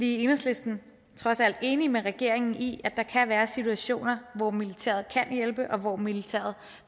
i enhedslisten trods alt enige med regeringen i at der kan være situationer hvor militæret kan hjælpe og hvor militæret